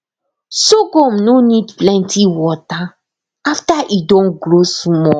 sorghum no need plenty water after e don grow small